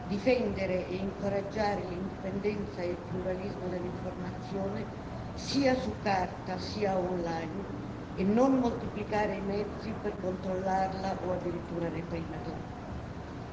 difendere e incoraggiare l'indipendenza e il pluralismo dell'informazione, sia su carta sia online, e non moltiplicare i mezzi per controllarla o addirittura reprimerla.